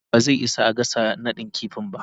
plawan ba zai isa a gasa nadin kifi ba.